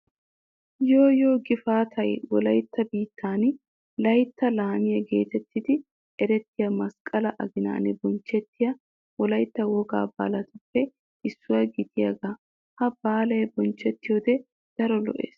Yooyyo gifaatay wolaytta biittan layttaa laamiya geetettidi erettiya masqqalaa aginan bonchchettiya wolaytta wogaa baalaappe issuwa giyogaa. Ha baalay bonchchettiyode daro lo'ees.